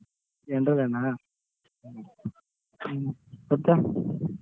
general ಏನ ಹ್ಮ್ ಮತ್ತೆ?